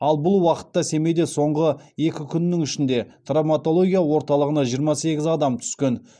ал бұл уақытта семейде соңғы екі күннің ішінде травматология орталығына жиырма сегіз адам түскен